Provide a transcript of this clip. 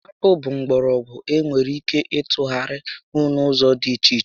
Akpụ bụ mgbọrọgwụ e nwere ike ịtụgharịnwu n'ụzọ dị iche iche